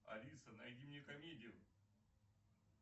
алиса найди мне комедию